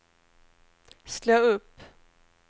slå upp